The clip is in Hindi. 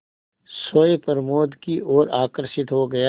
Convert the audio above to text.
सोए प्रमोद की ओर आकर्षित हो गया